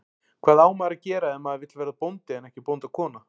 Hvað á maður að gera ef maður vill verða bóndi en ekki bóndakona?